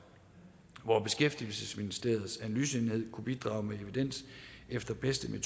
hvor beskæftigelsesministeriets analyseenhed kunne bidrage med evidens efter bedste